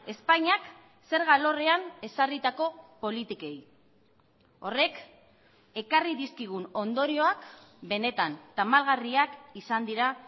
espainiak zerga alorrean ezarritako politikei horrek ekarri dizkigun ondorioak benetan tamalgarriak izan dira